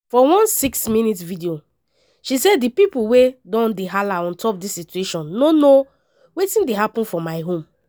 for one six minute video she say “di pipo wey don dey hala on top dis situation no know wetin dey happun for my home”.